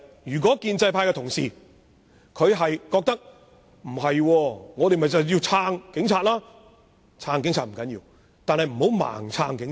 如果建制派同事不同意，認為必須支持警察，我奉勸他們，不要盲目支持警察。